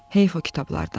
"Heyf o kitablardan.